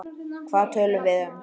Hvað töluðum við um?